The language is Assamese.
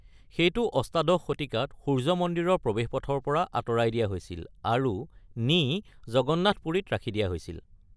সেইটো অষ্টাদশ শতিকাত সূৰ্য্য মন্দিৰৰ প্ৰৱেশপথৰ পৰা আঁতৰাই দিয়া হৈছিল আৰু নি জগন্নাথ পুৰীত ৰাখি দিয়া হৈছিল।